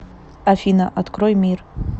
афина открой мир